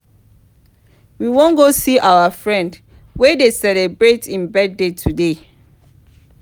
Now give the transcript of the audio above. we wan go see our friend wey dey celebrate im birthday today